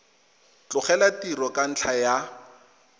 tlogela tiro ka ntlha ya